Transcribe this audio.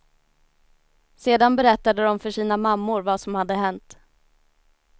Sedan berättade de för sina mammor vad som hade hänt.